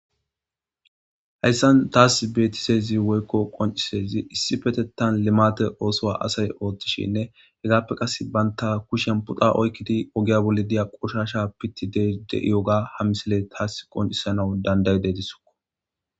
Hayssan taas beetisezi woykko qoncisezi issipetettan limate oosoa asay ooththishinne hegaappe qas baynta kushen puxa oykkidi ogiya bolli diya qoshasha pitti dde'ioga ha misiley taas qoncisana danday deetisokko.